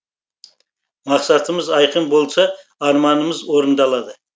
мақсатымыз айқын болса арманымыз орындалады